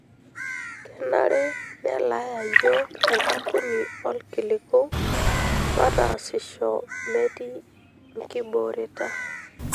Kenare nelaaya yiok enkampuni oolkiliku mataasisho metii nkibooreta.